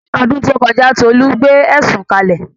Ní ọdún tó kọjá, Tolu gbé ẹ̀sùn kalẹ̀